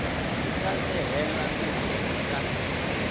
nga se hela tinhweti ta